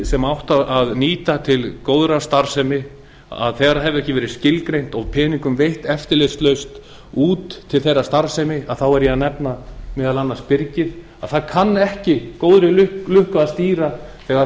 sem átti að nýta til góðrar starfsemi þegar það hefur ekki meiri skilgreint og peningum veitt eftirlitslaust út til þeirrar starfsemi þá er ég að nefna meðal annars byrgið það kann ekki góðri lukku að stýra þegar